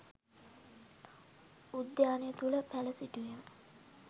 උද්‍යානය තුළ පැළ සිටුවීම